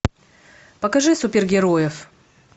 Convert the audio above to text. покажи супергероев